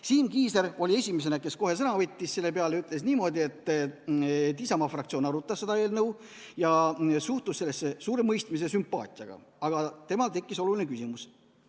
Siim Kiisler oli esimene, kes kohe sõna võttis selle peale ja ütles niimoodi, et Isamaa fraktsioon arutas seda eelnõu ja suhtus sellesse suure mõistmise ja sümpaatiaga, aga temal tekkis oluline küsimus.